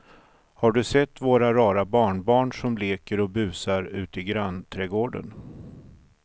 Har du sett våra rara barnbarn som leker och busar ute i grannträdgården!